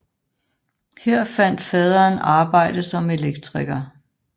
Her fandt faderen arbejde som elektriker